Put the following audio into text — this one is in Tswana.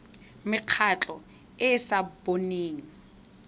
mekgatlho e e sa boneng